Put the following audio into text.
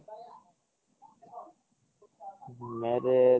marriage